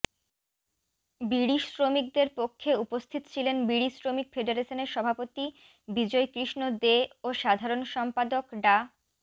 বিড়িশ্রমিকদের পক্ষে উপস্থিত ছিলেন বিড়িশ্রমিক ফেডারেশনের সভাপতি বিজয় কৃষ্ণ দে ও সাধারণ সম্পাদক ডা